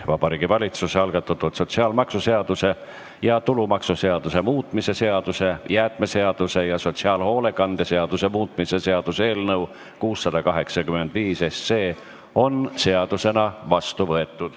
Vabariigi Valitsuse algatatud sotsiaalmaksuseaduse ja tulumaksuseaduse muutmise seaduse, jäätmeseaduse ja sotsiaalhoolekande seaduse muutmise seaduse eelnõu 685 on seadusena vastu võetud.